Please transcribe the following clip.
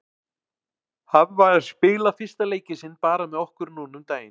Hann var að spila fyrsta leikinn sinn bara með okkur núna um daginn.